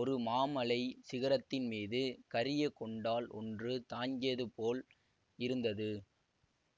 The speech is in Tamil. ஒரு மாமலைச் சிகரத்தின் மீது கரியகொண்டால் ஒன்று தங்கியது போல் இருந்தது